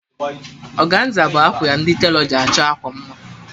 Ọganza bụ akwa ndi telọ ji achọ akwa mma